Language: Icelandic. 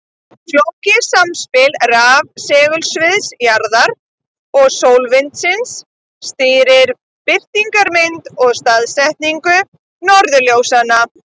Flókið samspil rafsegulsviðs jarðar og sólvindsins stýrir birtingarmynd og staðsetningu norðurljósanna.